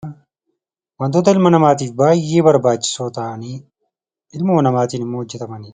Wantoota ilma namaatiif baay'ee barbaachisoo ta'anii ilmoo namaatiin immoo hojjetamanidha.